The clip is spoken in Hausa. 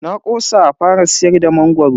Na kosa a fara siyar da mangoro.